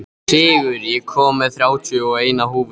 Sigur, ég kom með þrjátíu og eina húfur!